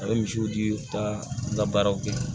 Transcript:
A bɛ misiw di u ka labaaraw kɛ